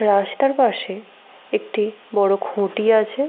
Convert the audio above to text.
রাস্তার পাশে একটি বড় খুঁটি আছে।